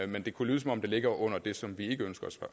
men det kunne lyde som om det ligger under det som vi ikke ønsker at